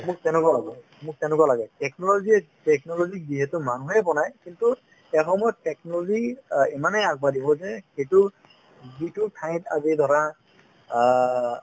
মোক তেনেকুৱা লাগে মোক তেনেকুৱা লাগে technology য়ে technology ক যিহেতু মানুহেই বনাই কিন্তু এসময়ত technology অ ইমানেই আগবাঢ়িব যে সেইটো যিটো ঠাইত আজি ধৰা অ